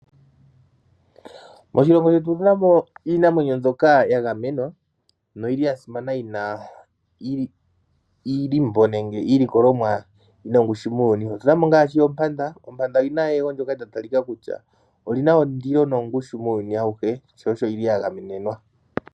Moshilongo shetu otu na mo iinamwenyo mbyoka ya gamenwa noyi li ya simana yi na iilombo nenge iilikolomwa yi na ongushu muuyuni mu. Otu na mo ngaashi oompanda, ompanda oyi na eyego ndyoka lya talika kutya oli na ondilo nongushu muuyuni awuhe, sho osho yi li ya gamenenwa.